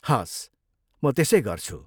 हवस्, म त्यसै गर्छु।